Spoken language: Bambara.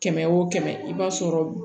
Kɛmɛ o kɛmɛ i b'a sɔrɔ